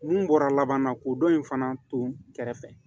Mun bɔra laban na ko dɔ in fana to kɛrɛfɛ